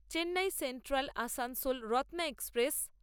Chennai central Asansol Ratna express